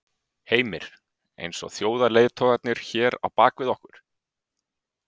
Heimir: Eins og þjóðarleiðtogarnir hér á bak við okkur?